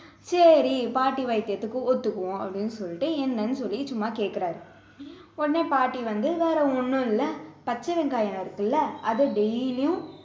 சரி பாட்டி வைத்தியத்துக்கு ஒத்துக்குவோம் அப்படின்னு சொல்லிட்டு என்னன்னு சொல்லி சும்மா கேக்குறாரு உடனே பாட்டி வந்து வேற ஒண்ணும் இல்ல பச்சை வெங்காயம் இருக்குல்ல அதை daily யும்